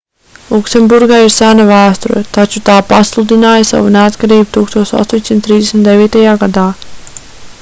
luksemburgai ir sena vēsture taču tā pasludināja savu neatkarību 1839. gadā